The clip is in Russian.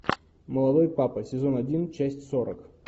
молодой папа сезон один часть сорок